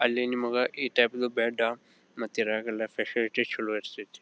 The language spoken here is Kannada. ಅಲ್ಲಿ ನಿಮಗ ಈ ಟೈಪಿದು ಬೆಡ್ಡ ಮತ್ತೆ ಇದ್ರಲ್ಲಿ ಫೆಸಿಲಿಟಿ ಚಲೋ ಇರತೈತಿ.